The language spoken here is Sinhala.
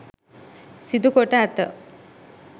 සිදුකොට ඇත.